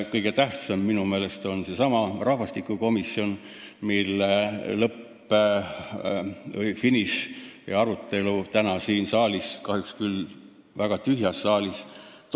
Kõige tähtsam on minu meelest seesama rahvastikukomisjon, mille finišit näeme täna siin saalis – kahjuks toimub arutelu küll väga tühjas saalis.